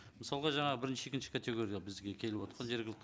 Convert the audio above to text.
мысалға жаңа бірінші екінші категорияда бізге келіватқан жергілікті